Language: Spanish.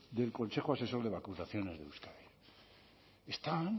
del consejo asesor de vacunación en euskadi están